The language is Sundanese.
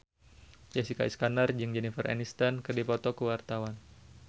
Jessica Iskandar jeung Jennifer Aniston keur dipoto ku wartawan